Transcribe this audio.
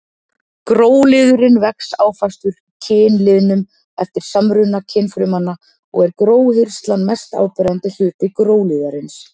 Gróliðurinn vex áfastur kynliðnum eftir samruna kynfrumanna og er gróhirslan mest áberandi hluti gróliðarins.